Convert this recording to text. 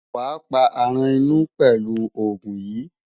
Wàá pa aràn inú pelu òògùn yìí.